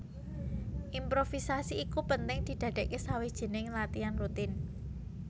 Improvisasi iku penting didadèkké sawijining latian rutin